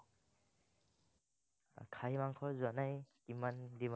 খাহি মাংস জানাই, কিমান